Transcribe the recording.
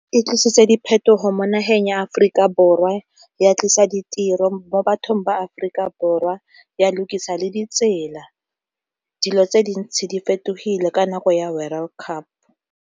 E tlisitse diphetogo mo nageng ya Aforika Borwa, ya tlisa ditiro mo bathong ba Aforika Borwa, ya lukisa le ditsela. Dilo tse dintsi di fetogile ka nako ya World Cup.